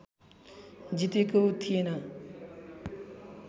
जितेको थिएन